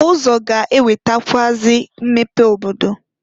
Ụzọ ga-ewetakwụazị mmepe n'obodo.